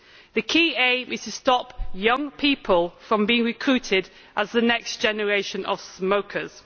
The key aim is to stop young people from being recruited as the next generation of smokers.